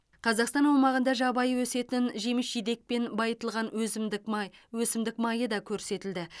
қазақстан аумағында жабайы өсетін жеміс жидекпен байытылған өсімдік май өсімдік майы да көрсетілді